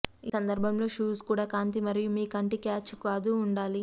ఈ సందర్భంలో షూస్ కూడా కాంతి మరియు మీ కంటి క్యాచ్ కాదు ఉండాలి